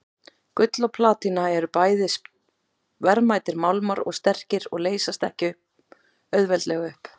Gull og platína eru bæði verðmætir málmar og sterkir og leysast ekki auðveldlega upp.